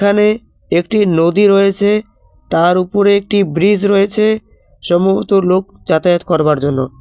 এখানে একটি নদী রয়েছে তার উপরে একটি ব্রীজ রয়েছে সম্ভবত লোক যাতায়াত করবার জন্য।